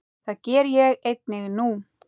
Það geri ég einnig nú.